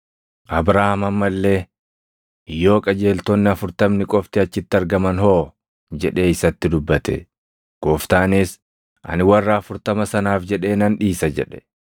Abrahaam amma illee, “Yoo qajeeltonni afurtamni qofti achitti argaman hoo?” jedhee isatti dubbate. Gooftaanis, “Ani warra afurtama sanaaf jedhee nan dhiisa” jedhe.